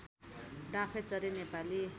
डाँफेचरी Nepali